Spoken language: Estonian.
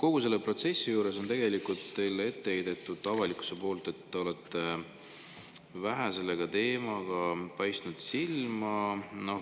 Kogu selle protsessi juures on teile ette heidetud, avalikkus on ette heitnud, et te olete selle teemaga vähe silma paistnud.